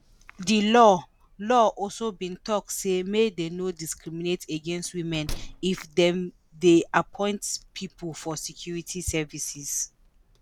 di law law also bin tok say make dey no discriminate against women if dem dey appoint pipo for security services.